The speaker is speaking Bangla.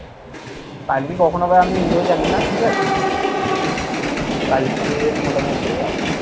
কালকে কখন হবে আমি নিজেও জানি না ঠিক আছে? কালকে মোটামুটি আহ